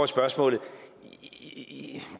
spørgsmålet det